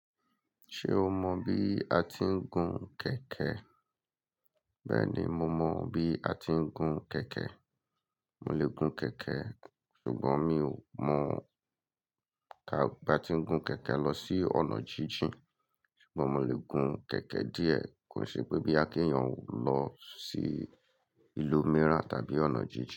Ṣé o mọ bí a ti ń gun kẹ̀kẹ́? Bẹ́ẹ̀ni, mo mọ bí a ti ń gun kẹ̀kẹ́. Mo lè gun kẹ̀kẹ́ ṣùgbọ́n mi ò mọ̀ bí a ti ń gun kẹ̀kẹ́ lọ sí ọ̀nà jíjìn. Ṣùgbọ́n mo lè gun kẹ̀kẹ́ díẹ̀, kò ṣe pé bóyá kí èèyàn lọ sí ìlú mìíràn tàbí ọ̀nà jíjìn.